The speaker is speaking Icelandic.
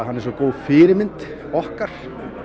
hann er svo góð fyrirmynd okkar